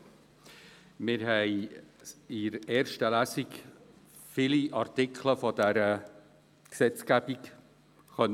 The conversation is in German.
Wir haben in der ersten Lesung viele Artikel des PRG behandeln können.